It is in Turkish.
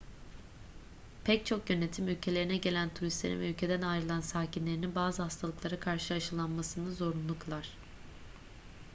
pek çok yönetim ülkelerine gelen turistlerin veya ülkeden ayrılan sakinlerinin bazı hastalıklara karşı aşılanmasını zorunlu kılar